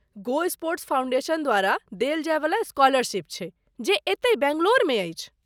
गो Sports Foundation द्वारा देल जायवला स्कॉलरशीप छै ,जे एतै बैंगलौरमे अछि।